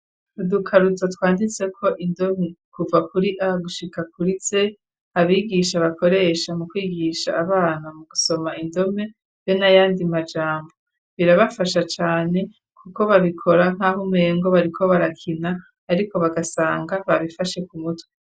Udukaruto twanditseko indome kuva kuri a gushika kuri z abigisha bakoresha mu kwigisha abana mu gusoma indome be n'ayandi majambo birabafasha cane kuko babikora nkaho umengo bariko barakina ariko bagasanga babifashe kumutwe.